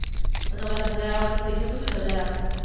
તો તમારે ઘરે આવવા માટે special થોડી રજા રાખુ હું